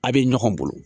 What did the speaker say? A' bɛ ɲɔgɔn bolo